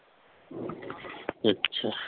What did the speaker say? ਅੱਛਾ।